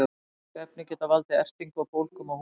slík efni geta valdið ertingu og bólgum á húð